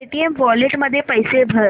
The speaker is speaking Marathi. पेटीएम वॉलेट मध्ये पैसे भर